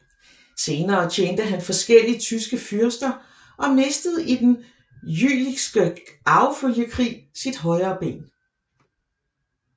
Senere tjente han forskellige tyske fyrster og mistede i Den Jülichske Arvefølgekrig sit højre ben